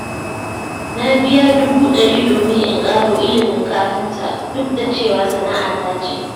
Na biya dubu ɗari domin in ƙaro ilimin kafinta, duk da cewa sana'ata ce.